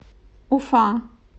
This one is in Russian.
уфа